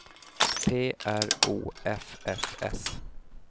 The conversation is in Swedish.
P R O F F S